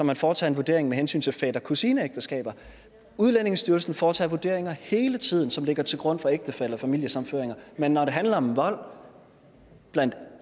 man foretager en vurdering med hensyn til fætter kusine ægteskaber udlændingestyrelsen foretager vurderinger hele tiden som ligger til grund for ægtefælle og familiesammenføringer men når det handler om vold